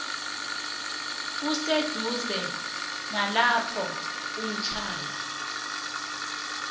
eseduze nalapho uhlala